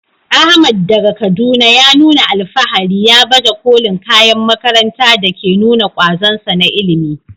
Ahmad, daga Kaduna, ya nuna alfahari ya baje kolin kayan makaranta da ke nuna kwazonsa na ilimi.